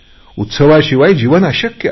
उत्सवाशिवाय जीवन अशक्य आहे